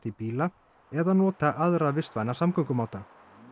bíla eða nota aðra vistvæna samgöngumáta